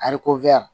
Ariko